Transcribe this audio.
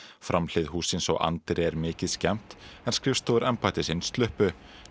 framhlið hússins og anddyri er mikið skemmt en skrifstofur embættisins sluppu